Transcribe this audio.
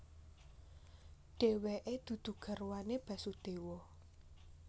Dheweke dudu garwane Basudewa